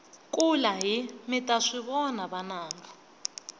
kulahi mita swivona vananga